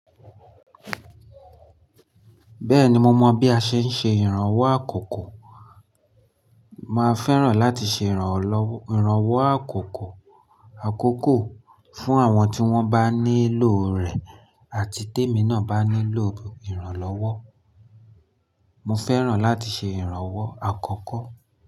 Bẹ́ẹ̀ni mo mọ bí a ṣe ń ṣe ìrànwọ́ àkoko. Mo fẹ́ràn láti ṣe ìrànwọ́ àkoko fún àwọn tí wọ́n bá nílò rẹ̀ àti témi náà bá nílò ìrànlọ́wọ́. Mo fẹ́ràn láti ṣe ìrànwọ́ àkọ́kọ́